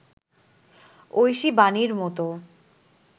ঐশী বাণীর মতো